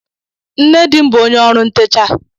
Nne di m bụ onye ọrụ ntecha